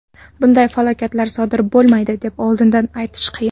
Bunday falokatlar sodir bo‘lmaydi deb oldindan aytish qiyin.